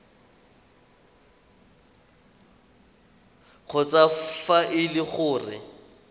kgotsa fa e le gore